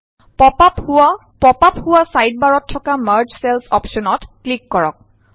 pop up হোৱা ছাইডবাৰত থকা মাৰ্জ চেলচ অপশ্যনত ক্লিক কৰক